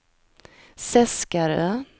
Seskarö